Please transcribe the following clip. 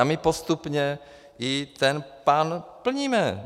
A my postupně i ten plán plníme.